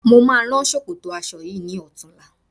Mo máa rán ṣòkòtò aṣọ yìí ní ọ̀tunla